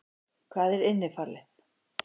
Hvað er innifalið?